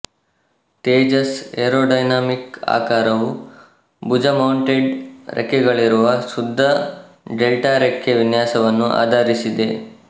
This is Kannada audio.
ತೇಜಸ್ ಏರೋಡೈನಾಮಿಕ್ ಆಕಾರವು ಭುಜಮೌಂಟೆಡ್ ರೆಕ್ಕೆಗಳಿರುವ ಶುದ್ಧ ಡೆಲ್ಟಾರೆಕ್ಕೆ ವಿನ್ಯಾಸವನ್ನು ಆಧರಿಸಿದೆ